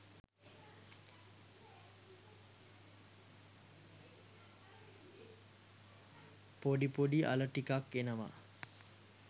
පොඩි පොඩි අල ටිකක් එනවා.